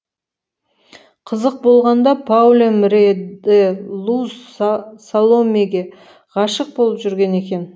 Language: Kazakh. қызық болғанда паулем рее де лу саломеге ғашық болып жүрген екен